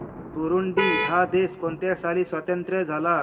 Burundi हा देश कोणत्या साली स्वातंत्र्य झाला